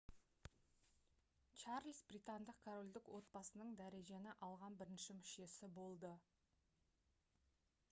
чарльз британдық корольдік отбасының дәрежені алған бірінші мүшесі болды